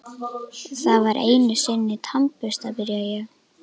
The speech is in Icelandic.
Það var einusinni tannbursti, byrja ég.